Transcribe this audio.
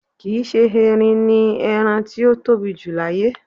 Kì íṣe erin ni ẹrán ti ó tobi jù láyé.